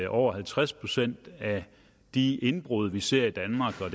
over halvtreds procent af de indbrud vi ser i danmark